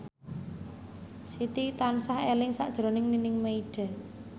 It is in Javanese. Siti tansah eling sakjroning Nining Meida